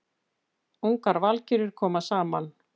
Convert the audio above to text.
Ungar valkyrjur koma saman